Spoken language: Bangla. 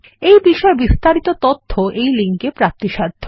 এই বিষয়ে বিস্তারিত তথ্য এই লিঙ্কে প্রাপ্তিসাধ্য